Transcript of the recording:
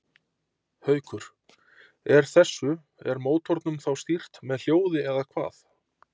Haukur: Er þessu, er mótornum þá stýrt með hljóði eða hvað?